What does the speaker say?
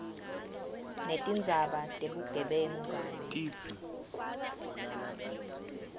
netindzaba tebugebengu kanye